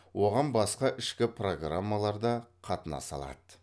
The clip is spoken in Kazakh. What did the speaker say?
оған басқа ішкі программалар да қатынаса алады